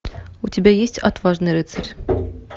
у тебя есть отважный рыцарь